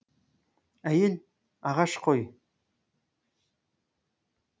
ә й е л ағаш қой